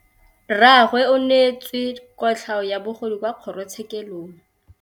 Rragwe o neetswe kotlhaô ya bogodu kwa kgoro tshêkêlông.